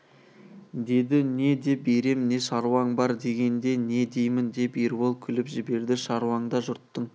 деді не деп ерем не шаруаң бар дегенде не деймін деп ербол күліп жіберді шаруаңда жұрттың